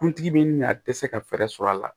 Kuntigi bɛ min na a tɛ se ka fɛɛrɛ sɔrɔ a la